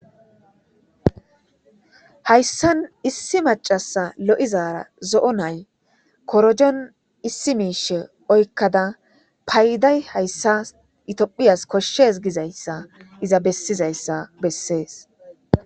hayssan issi macasa lo7izaara zo7o nay korojon issi miishe oykkada payday hayssa itiphiyas koshshes gizayssa iza bessizayssa bessees